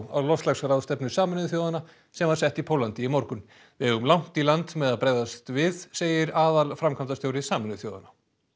á loftslagsráðstefnu Sameinuðu þjóðanna sem var sett í Póllandi í morgun við eigum langt í land með að bregðast við segir aðalframkvæmdastjóri Sameinuðu þjóðanna